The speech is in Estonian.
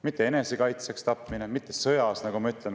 Mitte enesekaitseks tapmine ja mitte sõjas tapmine.